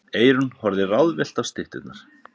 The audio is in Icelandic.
Eyrún horfði ráðvillt á stytturnar.